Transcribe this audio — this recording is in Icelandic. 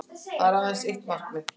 Það er aðeins eitt markið